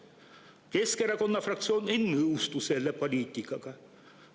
Keskerakonna fraktsioon ei nõustu selle poliitikaga.